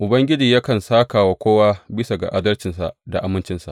Ubangiji yakan sāka wa kowa bisa ga adalcinsa da amincinsa.